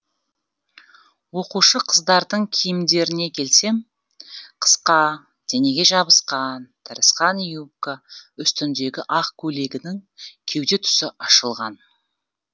оқушы қыздардың киімдеріне келсем қысқа денеге жабысқан тырысқан юбка үстіндегі ақ көйлегінің кеуде тұсы ашылған